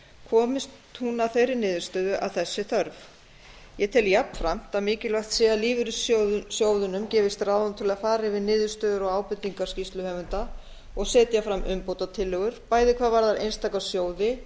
komist hún að þeirri niðurstöðu að þess sé þörf ég tel jafnframt að lífeyrissjóðunum gefist ráðrúm til að fara yfir niðurstöður og ábendingar skýrsluhöfunda og setja fram umbótatillögur bæði hvað varðar einstaka sjóði